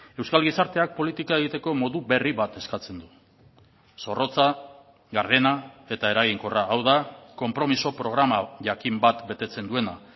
euskal gizarteak politika egiteko modu berri bat eskatzen du zorrotza gardena eta eraginkorra hau da konpromiso programa jakin bat betetzen duena